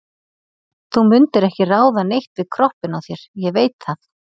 Þú mundir ekki ráða neitt við kroppinn á þér, ég veit það.